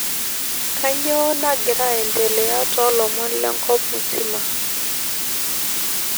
kanyoo nagira aendelea tolomon lenkop mzima